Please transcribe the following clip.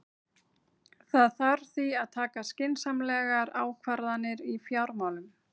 Það þarf því að taka skynsamlegar ákvarðanir í fjármálum.